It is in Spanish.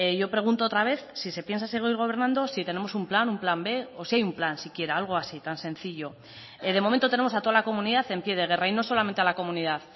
yo pregunto otra vez si se piensa seguir gobernando si tenemos un plan un plan b o si hay un plan siquiera algo así tan sencillo de momento tenemos a toda la comunidad en pie de guerra y no solamente a la comunidad